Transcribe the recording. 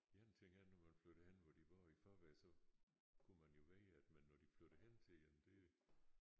En ting er når man flytter hen hvor de bor i forvejen så kunne man jo vælge det men når de flytter hen til en det